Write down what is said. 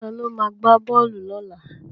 Ta ló ma gbá bọ́ọ̀lù lọ́la?